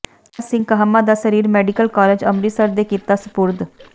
ਤਾਰਾ ਸਿੰਘ ਕਾਹਮਾ ਦਾ ਸਰੀਰ medical college Amritsar ਦੇ ਕੀਤਾ ਸਪੁਰਦ